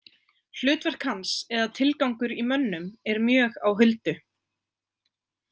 Hlutverk hans eða tilgangur í mönnum er mjög á huldu.